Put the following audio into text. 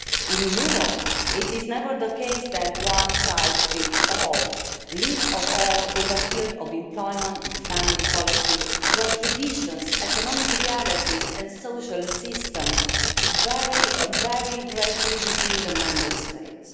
In Europe, it is never the case that one size fits all least of all in the field of employment and family policy where traditions, economic realities and social assistance vary very greatly between the Member States.